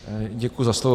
Děkuji za slovo.